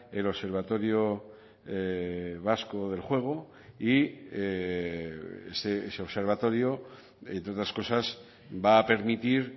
el observatorio vasco del juego y ese observatorio entre otras cosas va a permitir